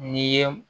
N'i ye